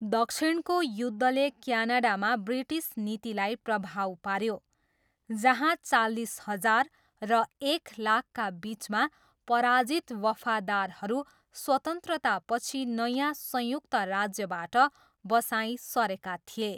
दक्षिणको युद्धले क्यानाडामा ब्रिटिस नीतिलाई प्रभाव पाऱ्यो, जहाँ चालिस हजार र एक लाखका बिचमा पराजित वफादारहरू स्वतन्त्रतापछि नयाँ संयुक्त राज्यबाट बसाइँ सरेका थिए।